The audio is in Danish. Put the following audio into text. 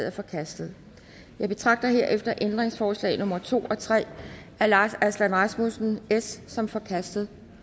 er forkastet jeg betragter herefter ændringsforslag nummer to og tre af lars aslan rasmussen som forkastet